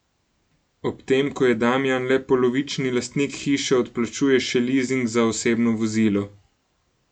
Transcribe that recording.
Ob tem, ko je Damijan le polovični lastnik hiše, odplačuje še lizing za osebno vozilo.